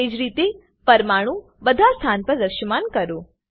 તેજ રીતે પરમાણુ બધા સ્થાન પર દ્રશ્યમાન કરો